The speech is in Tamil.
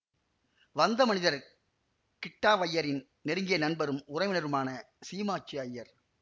வந்த மனிதர் கிட்டாவய்யரின் நெருங்கிய நண்பரும் உறவினருமான சீமாச்சு அய்யர்